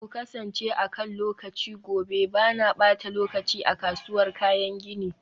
ku kasance akan lokaci gobe, ba na ɓata lokaci a kasuwar kayan gini.